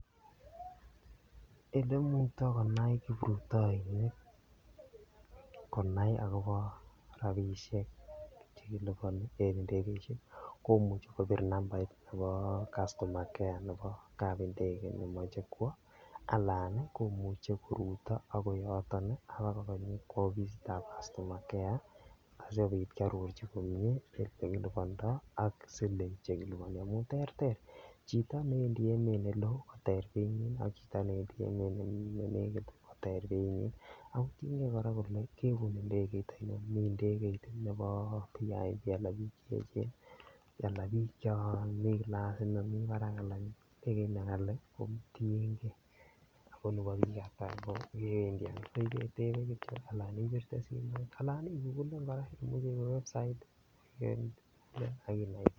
Ole imukta konai kiprutoinik konai agobo rabisiek Che kiliponi en ndegeisiek komuche kobir nambait nebo customer care nebo kapindege nemoche kwo anan komuche koruto agoi yoton ak koba ofisitab customer care asikobit kearorchi komie Ole kilibandoi ak siling Che kiliponi amun terter chito newendi emet neloo koter beinyin ak chito newendi emet newendi emet ne negit koter beinyin ako tienge kole ibune Ndegeit ainon miten Ndegeit nebo vip anan bik Che echen anan bik chon miten kilasit nemi barak anan tuguk Che ghali kotienge kole bo bik Ata ako kewendi ano ibetebe Kityo anan ibirte simoit anan iwe Kityo website ak inai